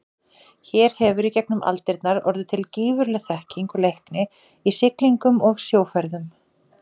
Hér hefur í gegnum aldirnar orðið til gífurleg þekking og leikni í siglingum og sjóferðum.